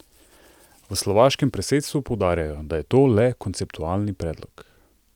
V slovaškem predsedstvu poudarjajo, da je to le konceptualni predlog.